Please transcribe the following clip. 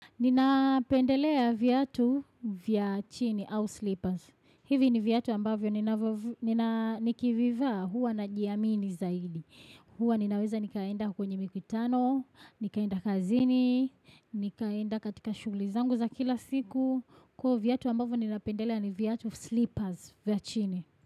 Ninapendelea viatu vya chini au slippers. Hivi ni viatu ambavyo nina nikivivaa huwa najiamini zaidi. Huwa ninaweza nikaenda kwenye mikutano, nikaenda kazini, nikaenda katika shughuli zangu za kila siku. Kwa viatu ambavyo nina pendelea ni viatu slippers vya chini.